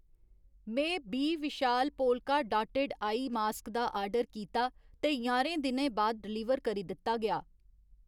में बी Vishal polka dotted eye mask दा आर्डर कीता ते ञारें दिनें बाद डलीवर करी दित्ता गेआ।